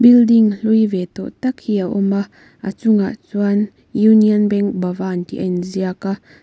building hlui ve tawh tak hi a awm a a chungah chuan union bank bhavan tih a inziak a--